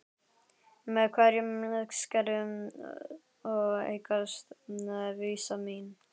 Með hverju skrefi eykst vissa mín.